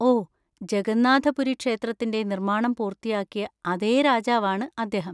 ഓ, ജഗന്നാഥ പുരി ക്ഷേത്രത്തിന്‍റെ നിർമ്മാണം പൂർത്തിയാക്കിയ അതേ രാജാവാണ് അദ്ദേഹം.